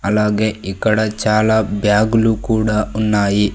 అలాగే ఇక్కడ చాలా బ్యాగులు కూడా ఉన్నాయి.